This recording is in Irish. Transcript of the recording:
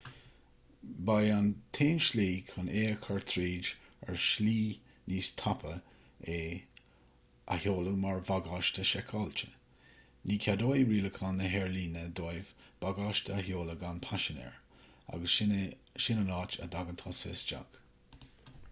ba é an t-aon slí chun é a chur tríd ar shlí níos tapa é a sheoladh mar bhagáiste seiceáilte ní cheadóidh rialacháin na haerlíne dóibh bagáiste a sheoladh gan paisinéir agus sin an áit a dtagann tusa isteach